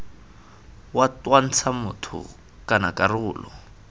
wa twantsha motho kana karolo